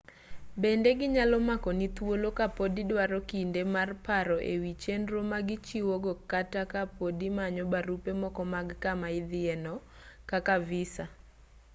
bende ginyalo makoni thuolo ka pod idwaro kinde mar paro e wi chenro ma gichiwo go kata ka pod imanyo barupe moko mag kama idhiye no kaka visa